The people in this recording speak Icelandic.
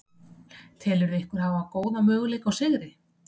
Telurðu ykkur hafa góða möguleika á sigri?